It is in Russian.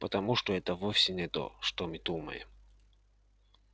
потому что это вовсе не то что мы думаем